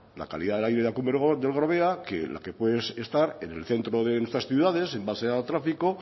la calidad del aire de la cumbre del gorbea que la que puede estar en el centro de nuestras ciudades en base al tráfico